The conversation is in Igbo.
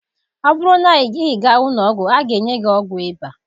Ọ bụrụ na ịga ụlọ ọgwụ, a ga-enye gị ọgwụ ịba.